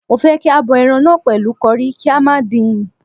Mo fẹ́ kí a bọ ẹran náà pẹ̀lú curry, kí a má dín-in..